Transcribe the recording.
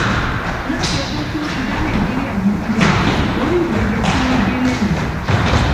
láti ọjọ tí wọn ti dá nàìjíríà yìí sílẹ orí ìrẹjẹ tí wọn gbé e lé nìyí